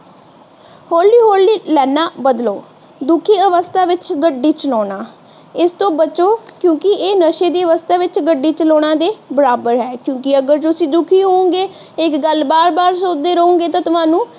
ਹੋਲੀ -ਹੋਲੀ ਲਾਈਨਾਂ ਬਦਲੋ। ਦੁਖੀ ਅਵੱਸਥਾ ਵਿੱਚ ਗੱਡੀ ਚਲਾਉਣਾ ਇਸਤੋਂ ਬਚੋ ਕਿਉਂਕਿ ਇਹ ਨਸ਼ੇ ਦੀ ਅਵੱਸਥਾ ਵਿੱਚ ਗੱਡੀ ਚਲਾਉਣਾ ਦੇ ਬਰਾਬਰ ਹੈ। ਕਿਉਂਕਿ ਅਗਰ ਤੁਸੀਂ ਦੁਖੀ ਹੋਵੋਗੇਂ ਤੇ ਇੱਕ ਗੱਲ ਬਾਰ ਬਾਰ ਸੋਚਦੇ ਰਹੋਂਗੇ ਤੇ ਤੁਹਾਨੂੰ